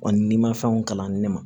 Wa ni mafɛnw kalanni ma